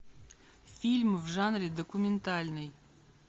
фильм в жанре документальный